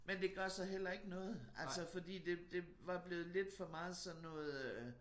Men det gør så heller ikke noget altså fordi det det var blevet til for meget sådan noget øh